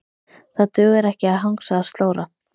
Það dugar ekki að hangsa og slóra.